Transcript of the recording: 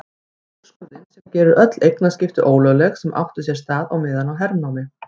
Úrskurðinn sem gerir öll eignaskipti ólögleg sem áttu sér stað meðan á hernámi